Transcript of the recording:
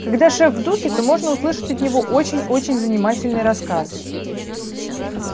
когда шеф в духе то можно услышать от него очень очень занимательный рассказ